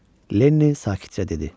Lenli sakitcə dedi.